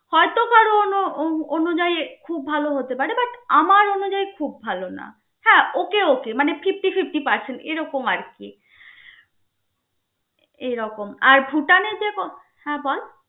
তো উহ অনুযায়ী খুব ভালো হতে পারে but আমার অনুযায়ী খুব ভালো না. হ্যা okay okay মানে fifty fifty percent এরকম আর কি. এরকম আর ভুটানে যে ব হ্যা বল.